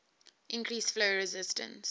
increase flow resistance